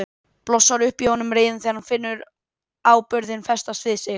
Blossar upp í honum reiðin þegar hann finnur áburðinn festast við sig.